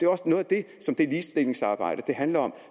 også noget af det som det ligestillingsarbejde handler om